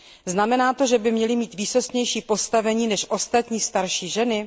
Znamená to, že by měly mít výsostnější postavení než ostatní starší ženy?